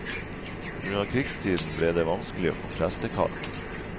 På grunn av krigstiden ble det vanskelig å få prestekall.